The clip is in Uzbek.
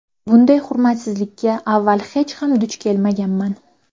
Bunday hurmatsizlikka avval hech ham duch kelmaganman.